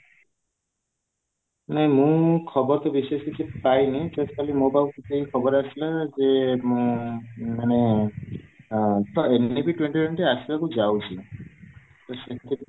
ମୁଁ ଖବର ତ ବିଶେଷ କିଛି ପାଇନି just ଖାଲି ମୋ ପାଖକୁ ଖବର ଆସିଲା ଯେ ଆଁ ମାନେ ଆଁ ତ ଏମିତି ବି twenty twenty ଆସିବାକୁ ଯାଉଛି